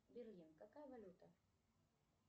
берлин какая валюта